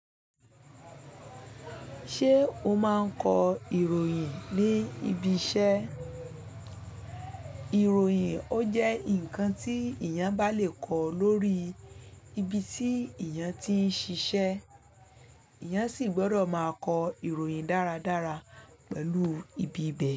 Ṣé o máa ń kọ ìròyìn ní ibi iṣẹ́? Ìròyìn ó jẹ́ ǹkan tí èèyàn bá lè kọ lórí ibi tí èèyàn ti ń ṣiṣẹ́, èèyàn sì gbọ́dọ̀ máa kọ ìròyìn dáradára pẹ̀lú ibi ibẹ̀